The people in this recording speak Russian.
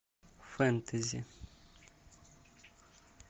фэнтези